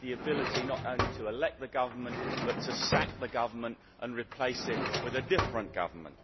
the ability not only to elect the government but also to sack the government and replace it with a different government.